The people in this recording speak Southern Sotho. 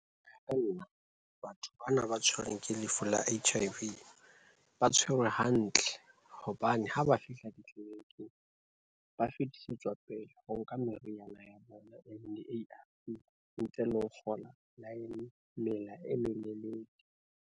Batho bana ba tshwerweng ke lefu la H_I_V, ba tshwerwe hantle hobane ha ba fihla ditleliniking ba fetisetswa pele ho ka meriana ya bona e leng di-A_R_V ntle le ho fola line, mela e melelele.